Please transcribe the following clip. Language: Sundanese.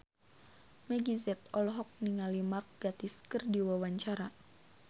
Meggie Z olohok ningali Mark Gatiss keur diwawancara